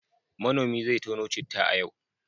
Manomi zai tono citta a yau.